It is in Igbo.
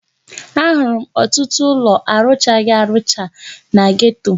Ahụrụ m ọtụtụ ụlọ arụchaghi arụcha na geto.